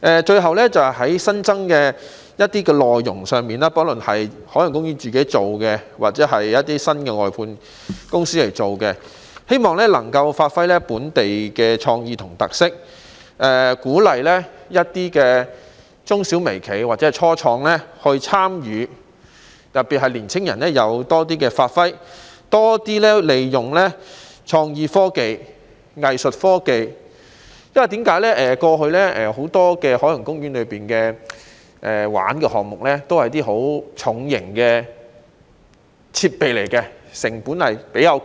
最後，在一些新增內容上，不論是由海洋公園自己還是新的外判公司負責，也希望能發揮本地創意和特色，鼓勵中小微企或初創人士參與，特別是讓年輕人可以有更多發揮機會，並且要多利用創意科技和藝術科技，因為過去海洋公園有很多遊玩項目都是十分重型的設備，成本偏高。